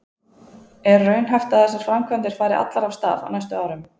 Er raunhæft að þessar framkvæmdir fari allar af stað á næstu árum?